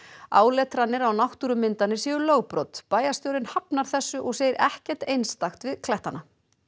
áletranir á náttúrumyndanir séu lögbrot bæjarstjórinn hafnar þessu og segir ekkert einstakt við klettana